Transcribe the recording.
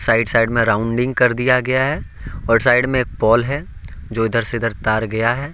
Right side में rounding कर दिया गया है और साइड में एक पोल है जो इधर से इधर तार गया है।